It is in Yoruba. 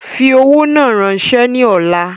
Fi owó náà rànsẹ́ ni ọ̀la